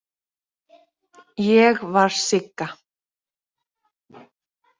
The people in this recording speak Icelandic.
Ég var Sigga.